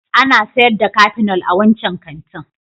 Ana sayar da Kafinol a wancan kantin